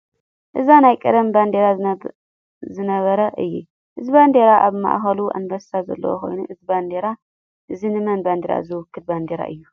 እዚ ናይ ቀደም ባንዴራ ዝነበረ እዩ። እዚ ባንዴራ ኣብ ማእከሉ ኣንበሳ ዘለዎ ኮይኑ እዚ ባንዴራ እዚ ንመን ባንዴራ ዝውክል ባንዴራ እዩ?